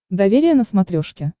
доверие на смотрешке